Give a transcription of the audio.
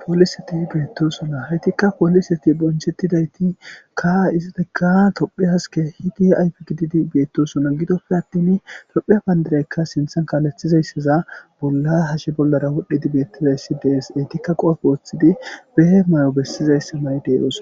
pooliseti beettosona haytikka pooliseti bonchettidaytikka izitega tophphiyassi has ke'idi ayfe gididi beettosona gidoppe attin tophpheiya payndiraykka siinththan kaalethizayssiza bolla hashe bollara wodhdhidi beettizayssi dees eytikka qoofe woththidi behe may'o bessizaysse mayde oosona